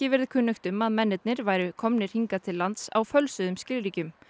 verið kunnugt um að mennirnir væru komnir hingað til lands á fölsuðum skilríkjum